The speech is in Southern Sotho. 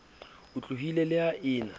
otlolohileng le ha e na